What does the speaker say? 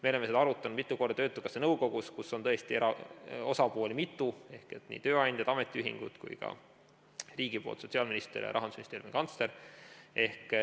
Me oleme seda arutanud mitu korda töötukassa nõukogus, kus on osapooli mitu, nii tööandjad, ametiühingud kui ka riigi poolt sotsiaalminister ja Rahandusministeeriumi kantsler.